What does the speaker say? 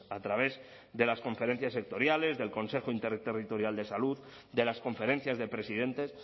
a través de las conferencias sectoriales del consejo interterritorial de salud de las conferencias de presidentes